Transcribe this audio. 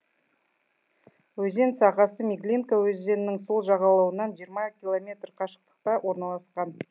өзен сағасы меглинка өзенінің сол жағалауынан жиырма километр қашықтықта орналасқан